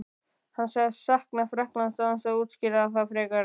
Hann sagðist sakna Frakklands án þess að útskýra það frekar.